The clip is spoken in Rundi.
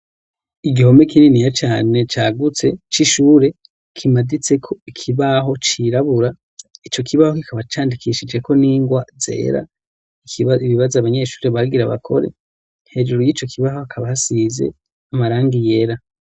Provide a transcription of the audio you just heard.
Igihome kininiya cane cagutse c'ishure kimaditseko ikibaho cirabura, ico kibaho kikaba candikishijeko n'ingwa zera. Kiriko ibibazo abanyeshure bagira bakore. Hejuru yico kibaho hakaba hasize amarangi yera.